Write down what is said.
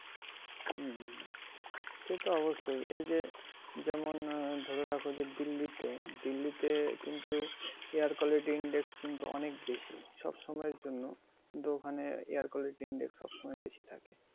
হম হম। সেতো অবশ্যই এই যে যেমন আহ ধরে রাখো যে দিল্লীতে, দিল্লীতে কিন্তু air quality index কিন্তু অনেক বেশি। সব সময়ের জন্য কিন্তু ওখানে air quality index সব সময় বেশি থাকে।